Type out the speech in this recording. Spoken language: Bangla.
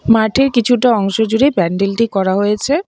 মাঠের কিছুটা অংশ জুড়ে প্যান্ডেল -টি করা হয়েছে।